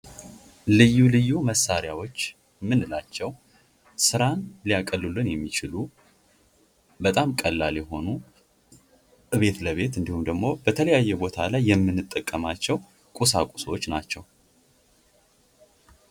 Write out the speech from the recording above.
ልዩ ልዩ መሣሪያዎች የምንላቸው ስራን ሊያቀሉልን የሚችሉ ፣ በጣም ቀላል የሆኑ እቤት ለቤት እንዲሁም ደግሞ በተለያየ ቦታ ላይ የምንጠቀማቸው ቁሳቁሶች ናቸው ።